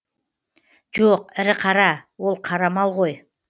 жоқ ірі қара ол қара мал ғой